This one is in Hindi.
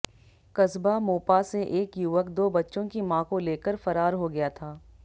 कस्बा मोपा से एक युवक दो बच्चों की मां को लेकर फरार हो गया था